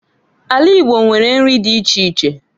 Ala Igbo nwere nri di iche iche.